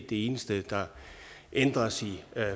det eneste der ændres i